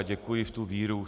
A děkuji v tu víru.